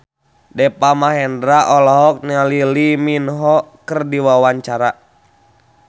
Deva Mahendra olohok ningali Lee Min Ho keur diwawancara